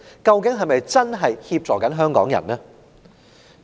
究竟是否真正協助香港人呢？